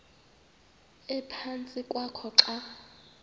ephantsi kwakho xa